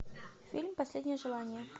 фильм последнее желание